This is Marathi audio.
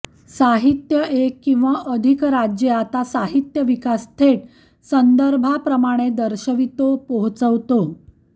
साहित्य एक किंवा अधिक राज्ये आत साहित्य विकास थेट संदर्भाप्रमाणे दर्शवितो पोहचवतो